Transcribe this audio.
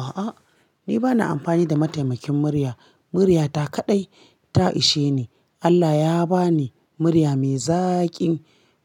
A'a, ni ba na ampani da mataimakin murya. Muryata kaɗai ta ishe ni. Allah ya ba ni murya mai zaƙi,